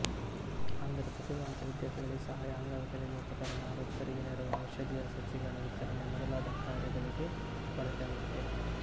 ಅಂದರೆ ಪ್ರತಿಭಾವಂತ ವಿದ್ಯಾರ್ಥಿಗಳಿಗೆ ಸಹಾಯ ಅಂಗವಿಕಲರಿಗೆ ಉಪಕರಣ ವೃದ್ಧರಿಗೆ ನೆರವು ಔಷಧೀಯ ಸಸಿಗಳ ವಿತರಣೆ ಮೊದಲಾದ ಕಾರ್ಯಗಳಿಗೆ ಬಳಕೆಯಾಗುತ್ತದೆ